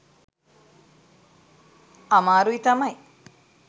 අමාරුයි තමයි.